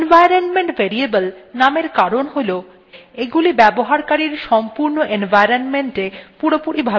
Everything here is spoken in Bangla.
environment variable named কারণ হল এগুলি ব্যবহারকারীর সম্পূর্ণ environment এ পুরোপুরি ভাবে প্রাপ্তিসাধ্য